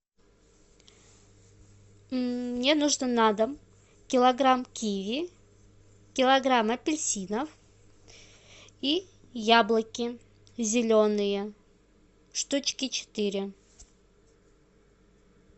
мне нужно на дом килограмм киви килограмм апельсинов и яблоки зеленые штучки четыре